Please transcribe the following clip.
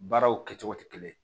Baaraw kɛcogo tɛ kelen ye